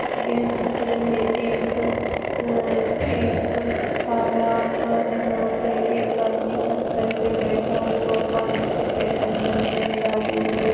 यह चित्र है एक अ एक तालाब का जहा पे एक आदमी पत्थर पे बैठा हुआ पाणी के पे अंदर पैर डाले हुये--